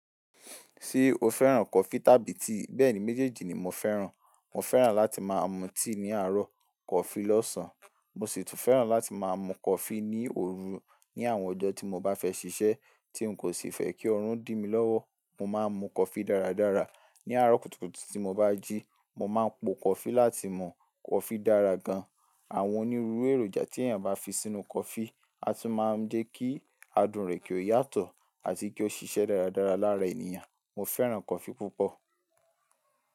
Tí o fẹ́ràn kọfí tàbí tea bẹ́ẹ̀ni méjèjì ni mo fẹ́ràn. Mo fẹ́ràn láti máa mu tea ní àárọ̀, coffee lọ́sàn. Mo sì tún fẹ́ràn láti máa mu coffee ní òru ní àwọn ọjọ́ tí mo bá fẹ́ ṣiṣẹ́ tí n kò sì fẹ́ kí ọrùn dìmi lọ́wọ́. Mo máa ń mu coffee dáradára ní àárọ̀ kùtùkùtù tí mo bá jí. Mo máa ń po coffee láti mu coffee dára gan. Àwọn onírúurú èròjà tí èyàn bá fi sínú coffee a tún máa ń jẹ́ kí adùn rẹ̀ kí ó yàtọ̀ a ti kí ó ṣiṣẹ́ dáradára lára ènìyàn. Mo fẹ́ràn coffee púpọ̀.